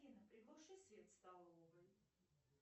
афина приглуши свет в столовой